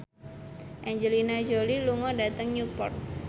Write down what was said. Angelina Jolie lunga dhateng Newport